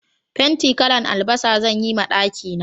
Fenti kalan albasa zan yi ma daki na